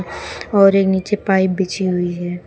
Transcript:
और एक नीचे पाइप बिछी हुई है।